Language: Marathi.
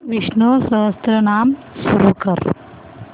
विष्णु सहस्त्रनाम सुरू कर